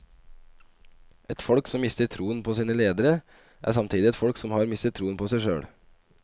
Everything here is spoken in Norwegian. Et folk som mister troen på sine ledere, er samtidig et folk som har mistet troen på seg selv.